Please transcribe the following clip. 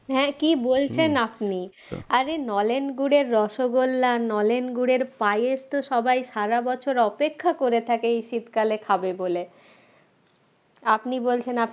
হ্যাঁ কি বলছেন আপনি আরে নলেন গুড়ের রসগোল্লা নলেন গুড়ের পায়েস তো সবাই সারা বছর অপেক্ষা করে থাকে এই শীতকালে খাবে বলে আপনি বলছেন আপনার